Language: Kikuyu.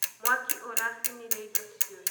mwaki ũracinĩre Indo ciothe